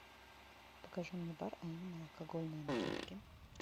покажи мне бар а именно алкогольные напитки